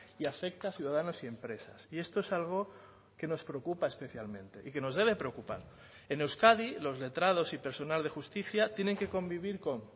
y afecta a ciudadanos y empresas y esto es algo que nos preocupa especialmente y que nos debe preocupar en euskadi los letrados y personal de justicia tienen que convivir con